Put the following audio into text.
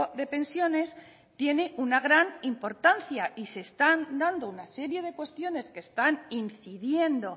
de pensiones tiene una gran importancia y se están dando una serie de cuestiones que están incidiendo